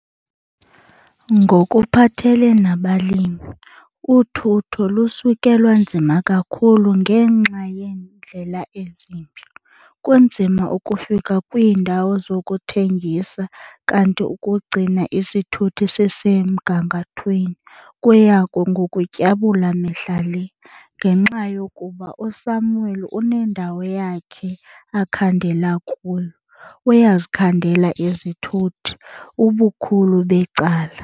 Ngokuphathele nabalimi uthutho lusuke lwanzima kakhulu ngenxa yeendlela ezimbi. Kunzima ukufika kwiindawo zokuthengisa kanti ukugcina isithuthi sisemgangathweni kuya ngokutyabula mihla le. Ngenxa yokuba uSamuel unendawo yakhe akhandela kuyo, uyazikhandela izithuthi, ubukhulu becala.